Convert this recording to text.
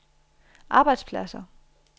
arbejdspladser